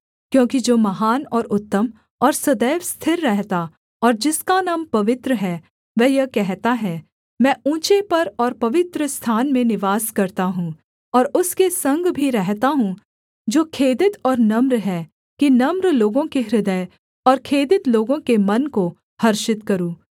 क्योंकि जो महान और उत्तम और सदैव स्थिर रहता और जिसका नाम पवित्र है वह यह कहता है मैं ऊँचे पर और पवित्रस्थान में निवास करता हूँ और उसके संग भी रहता हूँ जो खेदित और नम्र हैं कि नम्र लोगों के हृदय और खेदित लोगों के मन को हर्षित करूँ